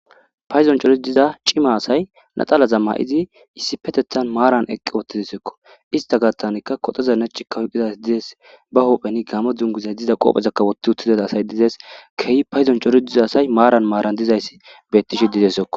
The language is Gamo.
Paydo coratiza caala asati laxanaza mayidi maaran eqi uttidesiko ista Gathani kotoza nace oykida asazika ba huphen Gamo duguza qopeza wothi uttida keehi paydon cori diza asay maran dizaysi betishe dizaysako.